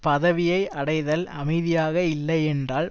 பதவியை அடைதல் அமைதியாக இல்லை என்றால்